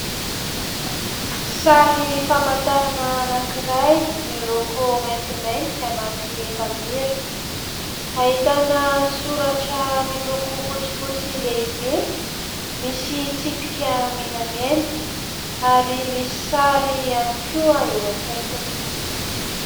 Sary famantarana anakiray miloko maintimainty anaty efamira. Ahitana soratra miloko fotsy fotsy lehibe. Misy tsipika menamena ary misy sary ihany koa eo akaikiny.